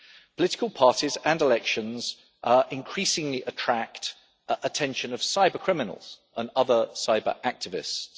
Political parties and elections increasingly attract the attention of cyber criminals and other cyber activists.